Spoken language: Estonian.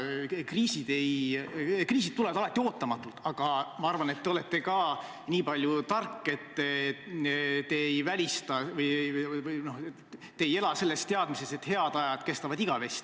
Kriisid tulevad alati ootamatult, aga ma arvan, et te olete nii palju tark, et te ei ela teadmises, et head ajad kestavad igavesti.